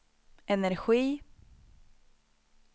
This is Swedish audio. energi